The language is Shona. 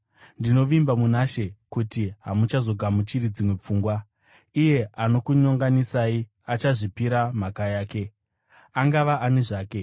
Ndinovimba muna She kuti hamuchazogamuchiri dzimwe pfungwa. Iyeye anokunyonganisai achazviripira mhaka yake, angava ani zvake.